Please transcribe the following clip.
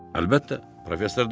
Əlbəttə, Professor Dati.